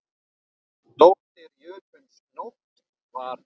Dóttir jötuns Nótt var.